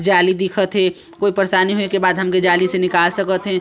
जाली दिखत हे कोई परेशानी होए के बाद हमके जाली से निकाल सकत हे।